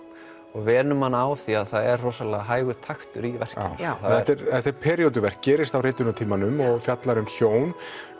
og venur mann á af því að það er rosalega hægur taktur í verkinu já þetta er períóduverk gerist á ritunartímanum og fjallar um hjón